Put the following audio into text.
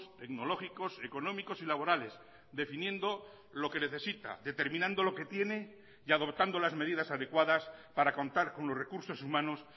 tecnológicos económicos y laborales definiendo lo que necesita determinando lo que tiene y adoptando las medidas adecuadas para contar con los recursos humanos